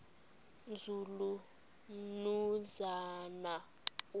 nzulu umnumzana u